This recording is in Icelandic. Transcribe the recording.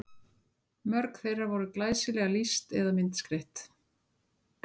Mörg þeirra voru glæsilega lýst eða myndskreytt.